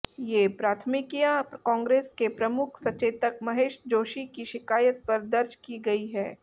ये प्राथमिकियां कांग्रेस के मुख्य सचेतक महेश जोशी की शिकायत पर दर्ज की गई हैं